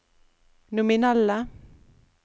nominelle